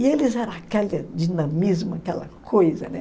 E eles eram aquele dinamismo, aquela coisa, né?